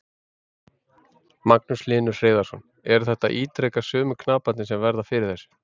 Magnús Hlynur Hreiðarsson: Eru þetta ítrekað sömu knaparnir sem verða fyrir þessu?